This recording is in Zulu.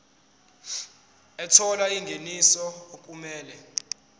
ethola ingeniso okumele